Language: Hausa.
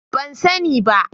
Ban sani ba.